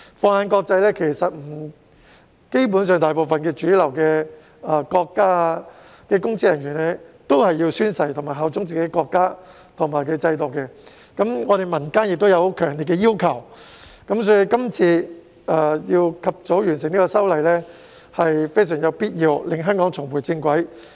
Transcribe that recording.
放眼國際，基本上大部分主流國家的公職人員也須宣誓效忠國家及制度，本港民間亦有強烈要求，所以，及早完成這次修例工作是有必要的，從而讓香港重回正軌。